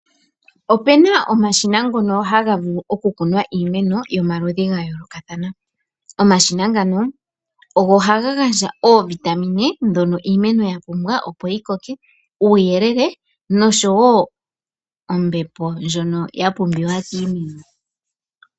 Opena omashina ngono hagavulu okukunwa iimeno gomaludhi gayoolokathana. Omashina ngano ogo hagagandja oovitamine dhono iimeno yapumbwa opo yikoke, uuyelele noshwo ombepo ndjono yapumbiwa kiimeno.